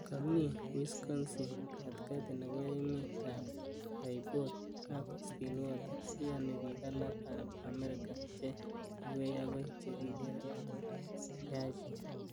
Ko mii ing Wisconsin, katitaki nebo emet ap Bayport ak Stillwater , iyoni pik alak ap America che kiwei ako che kikere ko yachen.